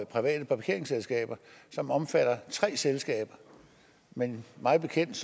private parkeringsselskaber som omfatter tre selskaber men mig bekendt